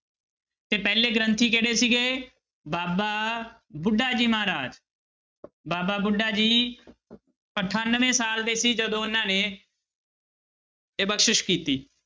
ਤੇ ਪਹਿਲੇ ਗ੍ਰੰਥੀ ਕਿਹੜੇ ਸੀਗੇ ਬਾਬਾ ਬੁੱਢਾ ਜੀ ਮਹਾਰਾਜ ਬਾਬਾ ਬੁੱਢਾ ਜੀ ਅਠਾਨਵੇਂ ਸਾਲ ਦੇ ਸੀ ਜਦੋਂ ਉਹਨਾਂ ਨੇ ਇਹ ਬਖਸ਼ਿਸ਼ ਕੀਤੀ।